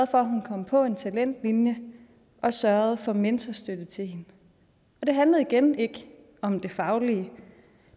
for at hun kom på en talentlinje og sørgede for mentorstøtte til hende det handlede igen ikke om det faglige